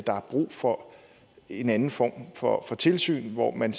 er brug for en anden form for tilsyn hvor man